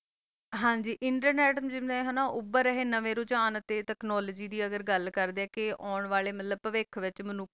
ਹਨ ਜੀ internet ਵੀ ਹ ਤਾ ਏਹਾ ਨਵੀ technology ਦੀ ਗਲ ਕਰ ਦਾ ਆ ਓਂ ਅਲ ਵਾਕ਼ਾਤ ਹੂ ਵਖੋ